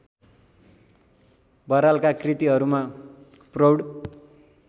बरालका कृतिहरूमा प्रौढ